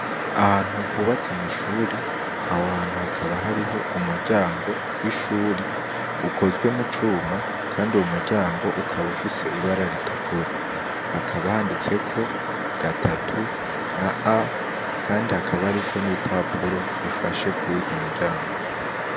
Ahantu hubatse amashure aho hantu hakaba hariho umuryango w'ishuri ukozwe mu cuma kandi uwo muryango ukaba ufise ibara ritukura, hakaba handitseko gatatu na A kandi hakaba hariko n'ibipapuro bifasha kuruwo muryango.